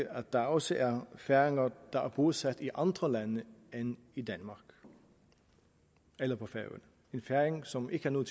at der også er færinger der er bosat i andre lande end i danmark eller på færøerne en færing som ikke har nogen